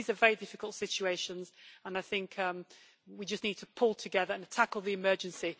These are very difficult situations and I think we just need to pull together to tackle the emergency.